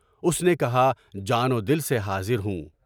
اُس نے کہا جان و دل سے حاضر ہوں۔